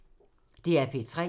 DR P3